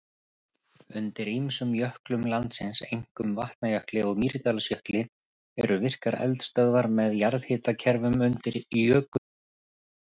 Undir ýmsum jöklum landsins, einkum Vatnajökli og Mýrdalsjökli, eru virkar eldstöðvar með jarðhitakerfum undir jökulísnum.